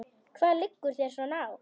Hvað liggur þér svona á?